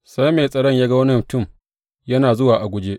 Sai mai tsaron ya ga wani mutum yana zuwa a guje.